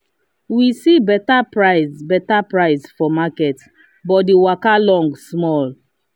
we see better price better price for market but the waka long small.